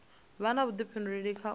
vha na vhudifhinduleli kha u